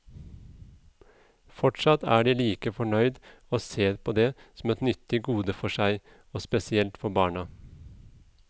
Fortsatt er de like fornøyd og ser på det som et nyttig gode for seg, og spesielt for barna.